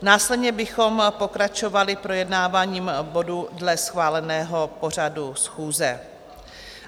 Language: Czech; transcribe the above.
Následně bychom pokračovali projednáváním bodů dle schváleného pořadu schůze.